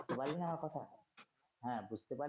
শোনা যায় না আমার কথা? হ্যা বুঝতে পারলি?